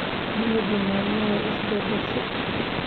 Dunidu maalmahan way is beddeshay